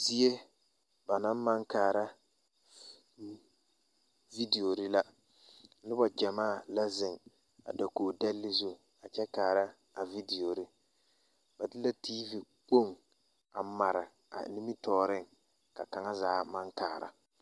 Die ba na maŋ kaara vidieore la noba ɡyamaa la zeŋ a dakoɡi dɛle zu kyɛ kaara a vidieore ba de la tiivi kpoŋ a mare a nimitɔɔreŋ ka kaŋa zaa maŋ kaara.